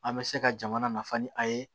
An bɛ se ka jamana nafa ni a ye